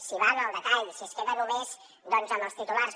si va en el detall si es queda només amb els titulars